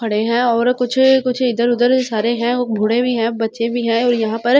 खड़े हैं और कुछ अ कुछ इधर उधर सारे हैं बूड़े भी हैं बच्चे भी हैं और यहाँ पर --